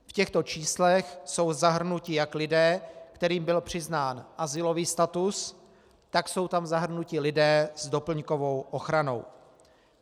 V těchto číslech jsou zahrnuti jak lidé, kterým byl přiznán azylový status, tak jsou tam zahrnuti lidé s doplňkovou ochranou.